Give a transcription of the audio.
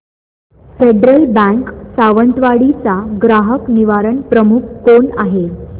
federal Bank Sawantwadi चा ग्राहक निवारण प्रमुख कोण आहे